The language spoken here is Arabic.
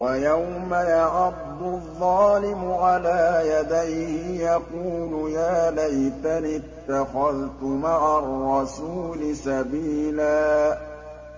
وَيَوْمَ يَعَضُّ الظَّالِمُ عَلَىٰ يَدَيْهِ يَقُولُ يَا لَيْتَنِي اتَّخَذْتُ مَعَ الرَّسُولِ سَبِيلًا